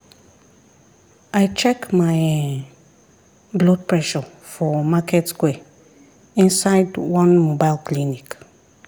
i check my[um]blood pressure for market square inside one mobile clinic.